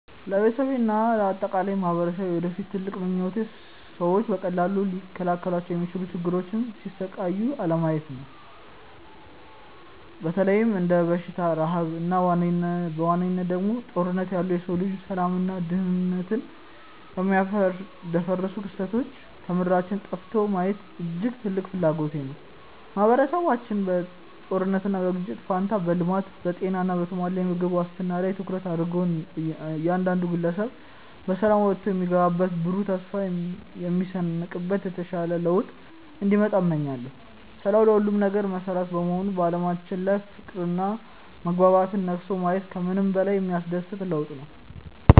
ለቤተሰቤና ለአጠቃላይ ማኅበረሰቤ የወደፊት ትልቁ ምኞቴ ሰዎች በቀላሉ ሊከላከሏቸው በሚችሉ ችግሮች ሲሰቃዩ አለማየት ነው። በተለይም እንደ በሽታ፣ ረሃብ እና በዋነኝነት ደግሞ እንደ ጦርነት ያሉ የሰው ልጅን ሰላምና ደኅንነት የሚያደፈርሱ ክስተቶች ከምድራችን ጠፍተው ማየት እጅግ ትልቅ ፍላጎቴ ነው። ማኅበረሰባችን በጦርነትና በግጭት ፋንታ በልማት፣ በጤና እና በተሟላ የምግብ ዋስትና ላይ ትኩረት አድርጎ እያንዳንዱ ግለሰብ በሰላም ወጥቶ የሚገባበትና ብሩህ ተስፋ የሚሰንቅበት የተሻለ ለውጥ እንዲመጣ እመኛለሁ። ሰላም ለሁሉም ነገር መሠረት በመሆኑ በዓለማችን ላይ ፍቅርና መግባባት ነግሶ ማየት ከምንም በላይ የሚያስደስት ለውጥ ነው።